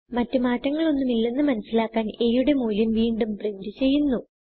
മറ്റ് മാറ്റങ്ങൾ ഒന്നും ഇല്ലന്ന് മനസിലാക്കാൻ a യുടെ മൂല്യം വീണ്ടും പ്രിന്റ് ചെയ്യുന്നു